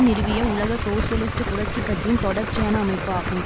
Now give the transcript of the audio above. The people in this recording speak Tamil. நிறுவிய உலக சோசியலிஸ்ட் புரட்சி கட்சியின் தொடர்ச்சியான அமைப்பு ஆகும்